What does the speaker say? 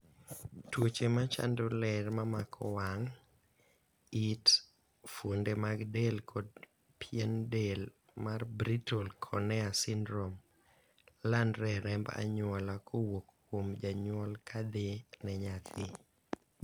tuoche machando ler mamako wang',it, fuonde mag del kod pien del mar Brittle cornea syndrome landre e remb anyuola kowuok kuom janyuol kadhi ne nyathi